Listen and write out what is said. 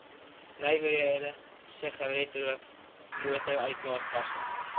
nywerhede sigaretrook motoruitlaatgasse